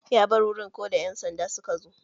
Ya bar wurin koda ƴan sanda suka zo.